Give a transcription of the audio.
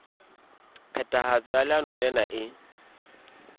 phethahatso ya leano lena e